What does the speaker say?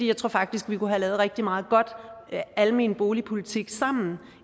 jeg tror faktisk vi kunne have lavet rigtig meget god almen boligpolitik sammen